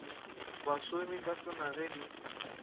basomi ka tsona ge di